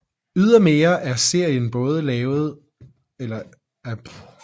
Ydermere er serien både blevet indspillet i Paris og Kiruna